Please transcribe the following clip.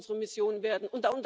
Das muss unsere Mission werden.